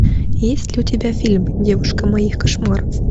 есть ли у тебя фильм девушка моих кошмаров